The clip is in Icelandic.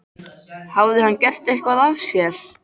Hafði hann gert eitthvað af sér?